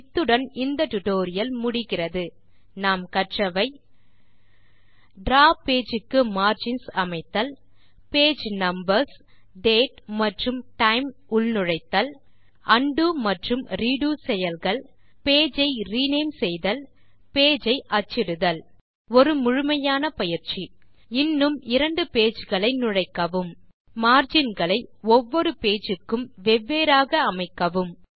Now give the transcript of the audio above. இத்துடன் இந்த டியூட்டோரியல் முடிகிறது இதில் நாம் கற்றவை டிராவ் பேஜ் க்கு மார்ஜின்ஸ் அமைத்தல் பேஜ் நம்பர்ஸ் டேட் மற்றும் டைம் நுழைத்தல் உண்டோ ரெடோ செயல்கள் பேஜ் ஐ ரினேம் செய்தல் பேஜ் ஐ அச்சிடுதல் ஒரு முழுமையான பயிற்சி இன்னும் 2 பேஜ் களை நுழைக்கவும் மார்ஜின் களை ஒவ்வொரு பேஜ் க்கு வெவ்வேறாக அமைக்கவும்